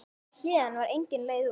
Héðan var engin leið út.